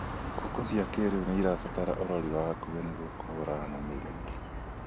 Ngũkũ cia kĩrĩu nĩirabatara ũrori wa hakuhĩ nĩguo kũhũrana na mĩrimũ